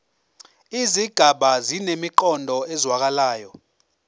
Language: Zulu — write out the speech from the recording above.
izigaba zinemiqondo ezwakalayo